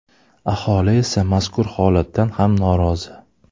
Aholi esa mazkur holatdan ham norozi.